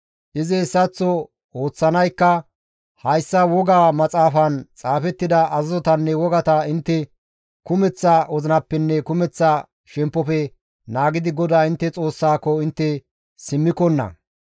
Izi hessaththo ooththanaykka hayssa woga maxaafaan xaafettida azazotanne wogata intte kumeththa wozinappenne kumeththa shemppofe naagidi GODAA intte Xoossaako intte simmikonna.